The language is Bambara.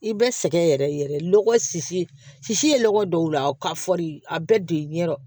I bɛ sɛgɛn yɛrɛ yɛrɛ lɔgɔ ye lɔgɔ dɔw la ka fɔri a bɛɛ de ye ɲɛdɔ